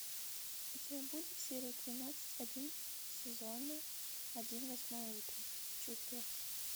у тебя будет серия тринадцать один сезона один восьмое утро чувство